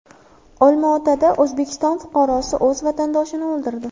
Olmaotada O‘zbekiston fuqarosi o‘z vatandoshini o‘ldirdi.